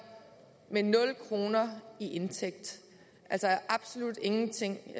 med nul kroner i indtægt altså absolut ingenting